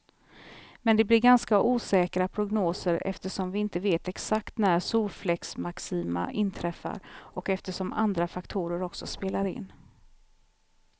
Men det blir ganska osäkra prognoser eftersom vi inte vet exakt när solfläcksmaxima inträffar, och eftersom andra faktorer också spelar in.